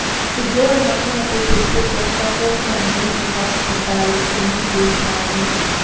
ਪਿਘਲੇ ਹੋਏ ਮੱਖਣ ਅਤੇ ਚੇਤੇ ਜਦ ਤੱਕ ਸਾਮੱਗਰੀ ਮੋਟਾ ਖਟਾਈ ਕਰੀਮ ਦੇ ਸਮਾਨ ਨਹੀਂ ਹੁੰਦੀ